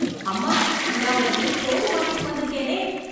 அம்மா, நான் உனக்கு தோடு வாங்கிட்டு வந்துருக்கேனே...